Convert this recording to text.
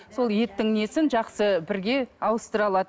сол еттің несін жақсы бірге ауыстыра алады